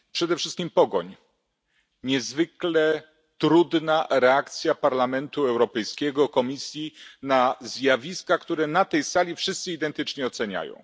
Przede wszystkim pogoń, niezwykle trudna reakcja Parlamentu Europejskiego, Komisji na zjawiska, które na tej sali wszyscy identycznie oceniają.